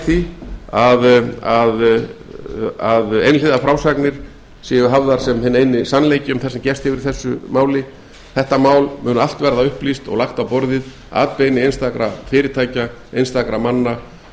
unnt að ganga að öllum tillögum sem upp hafa komið þegar slík verðmæti eru í húfi ég fullyrði að við sem komið höfum að því borði höfum tekið okkar ákvarðanir af fullum heilindum og ég kvíði ekki dómi sögunnar í þeim efnum góðir íslendingar á